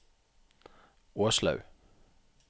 Åslaug